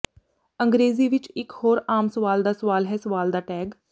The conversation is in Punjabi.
ਅੰਗਰੇਜ਼ੀ ਵਿਚ ਇਕ ਹੋਰ ਆਮ ਸਵਾਲ ਦਾ ਸਵਾਲ ਹੈ ਸਵਾਲ ਦਾ ਟੈਗ